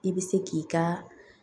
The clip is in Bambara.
I bɛ se k'i ka